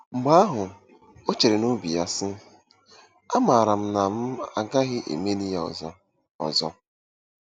Mgbe ahụ, o chere n’obi ya, sị, ‘Amaara m na m gaghị emeli ya ọzọ. ọzọ. '